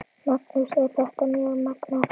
Magnús: Er þetta mjög magnað?